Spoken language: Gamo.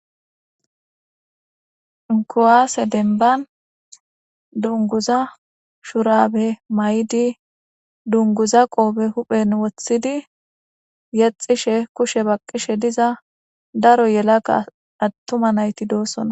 kuwaase denban dunguza shurabe may7di dunguza qoobe huphen wothidi yexishe kushe baqqishe diza daro yelaka attuma nayti doosona